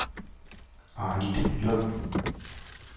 Arnitlund